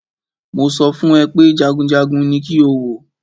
Mo sọ fún ẹ pé jagunjagun ní kí o wò!